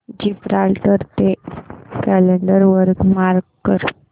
Gibraltar day calendar वर mark कर